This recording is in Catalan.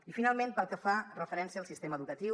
i finalment pel que fa referència al sistema educatiu